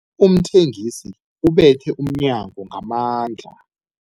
Umthengisi ubethe umnyango ngamandla.